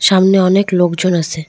সামনে অনেক লোকজন আছে।